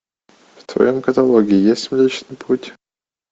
в твоем каталоге есть млечный путь